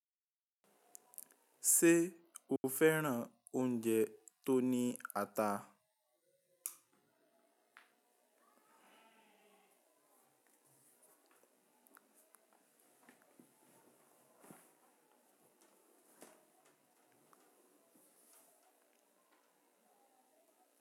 Ṣé o fẹ́ràn oúnjẹ tó ní ata?